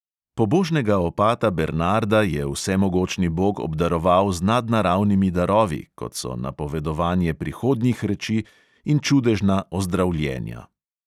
Pobožnega opata bernarda je vsemogočni bog obdaroval z nadnaravnimi darovi, kot so napovedovanje prihodnjih reči in čudežna ozdravljenja.